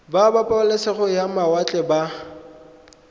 ba pabalesego ya mawatle ba